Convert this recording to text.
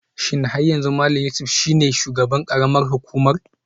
Shin har yanzu Malam Yusuf shine shugaban karamar hukumar?